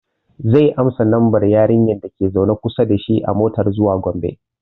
Zai ansa lambar yarinyar da ke zaune kusa dashi a motar zuwa Gombe